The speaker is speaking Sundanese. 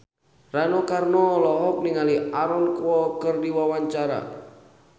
Rano Karno olohok ningali Aaron Kwok keur diwawancara